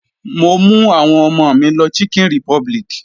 Mo mú àwọn ọmọ mi lọ chicken republic.